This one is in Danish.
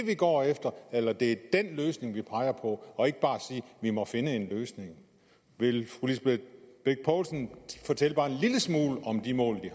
de går efter eller det er den løsning de peger på og ikke bare sige vi må finde en løsning vil fru lisbeth bech poulsen fortælle bare en lille smule om de mål